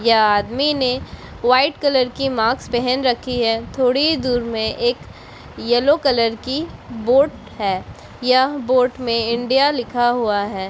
ये आदमी ने वाइट कलर की मास्क पहन रखी है थोड़ी ही दूर मे एक येलो कलर की बोट है यह बोट मे इंडिया लिखा हुआ है।